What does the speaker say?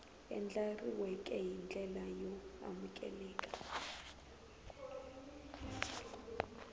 andlariweke hi ndlela yo amukeleka